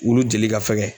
Wulu jeli ka fɛgɛn